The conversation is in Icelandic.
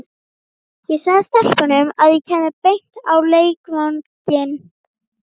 Ég sagði stelpunum að ég kæmi beint á leikvanginn.